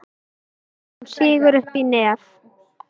Hún sýgur upp í nefið.